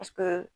Paseke